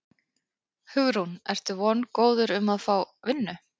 Hugrún: Ertu vongóður um að fá vinnu?